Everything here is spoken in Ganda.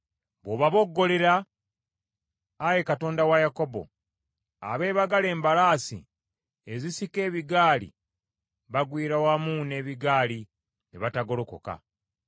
Bw’obaboggolera, Ayi Katonda wa Yakobo, abeebagala embalaasi ezisika ebigaali bagwiira wamu n’ebigaali ne batagolokoka.